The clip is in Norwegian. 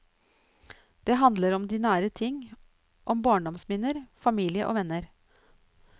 De handler om de nære ting, om barndomsminner, familie og venner.